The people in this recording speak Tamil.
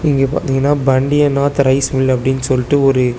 இங்க பாதீங்கனா பண்டியனாத் ரைஸ் மில் அப்டின்னு சொல்டு ஒரு.